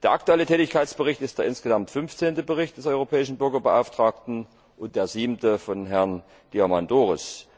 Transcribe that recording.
Der aktuelle Tätigkeitsbericht ist der insgesamt fünfzehnte Bericht des Europäischen Bürgerbeauftragten und der siebte von Herrn Diamandouros.